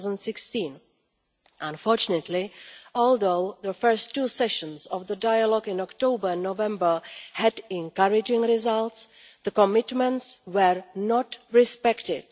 2016. Unfortunately, although the first two sessions of the dialogue in October and November had encouraging results, the commitments were not respected.